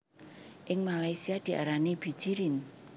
Ing Malaysia diarani bijirin